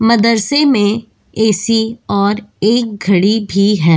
मदरसे में ऐ.सी. और एक घड़ी भी है।